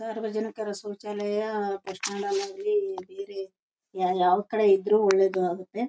ಸಾರ್ವಜನಿಕರ ಶೌಚಾಲಯ bus stand ನಲ್ಲಿ ಆಗ್ಲಿ ಬೇರೆ ಯ ಯಾವ ಕಡೆ ಇದ್ರೂ ಒಳ್ಳೇದು.